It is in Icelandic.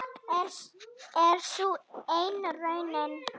Er sú enn raunin?